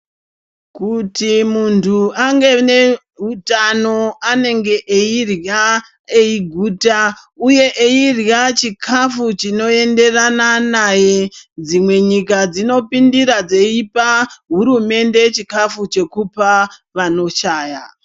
Kuti muntu ange aneutano, anenge eirya eiguta uye eirya chikafu chinoenderana naye. Dzimwe nyika dzinopindira dzeipa hurumende chikafu chekupa vanoshaya.